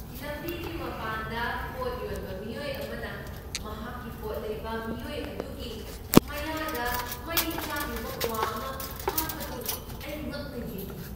ꯂꯝꯕꯤꯒꯤ ꯃꯄꯥꯟꯗ ꯄꯣꯠ ꯌꯣꯟꯕ ꯃꯤꯑꯣꯏ ꯑꯃꯅ ꯃꯍꯥꯛꯀꯤ ꯄꯣꯠ ꯂꯩꯕ ꯃꯤꯑꯣꯏ ꯑꯗꯨꯒꯤ ꯃꯌꯥꯗ ꯃꯩ ꯆꯥꯛꯂꯤꯕ ꯀ꯭ꯋꯥ ꯑꯃ ꯍꯥꯞꯄꯗꯨ ꯑꯩ ꯉꯛꯅ ꯌꯦꯡꯈꯤ꯫